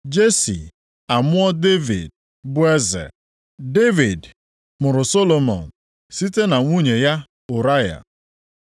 Jesi amụọ Devid, bụ eze. Devid mụrụ Solomọn site na nwunye ya Ụraya.